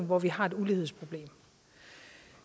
hvor vi har et ulighedsproblem